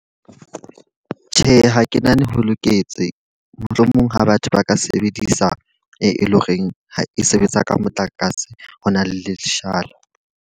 Tjhe, ha ke nahane ho loketse, mohlomong ha batho ba ka sebedisa, e leng horeng ha e sebetsa ka motlakase. Ho na le leshala.